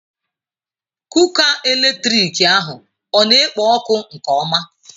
Kuka eletrik ahụ ọ na-ekpo ọkụ nke ọma?